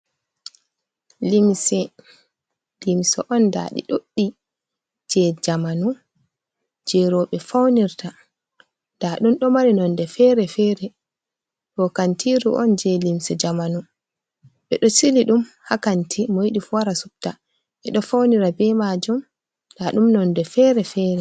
Limse on ndaaɗi ɗuɗɗi jey jamanu, jey rooɓe naftirta nda ɗum ɗo mari nonnde feere -feere, ɗo kantiiru on jey limse jamanu, ɓe ɗo sili ɗum haa kanti mo yidi fu wara subta, ɓe ɗo fawnira be majum, nda ɗum nonnde fere- fere.